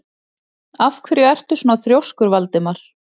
Af hverju ertu svona þrjóskur, Valdimar?